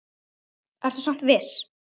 Ertu samt viss?